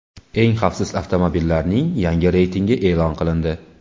Eng xavfsiz avtomobillarning yangi reytingi e’lon qilindi.